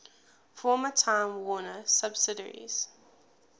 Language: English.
former time warner subsidiaries